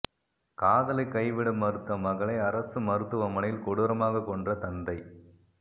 காதலை கைவிட மறுத்த மகளை அரசு மருத்துவமனையில் கொடூரமாக கொன்ற தந்தை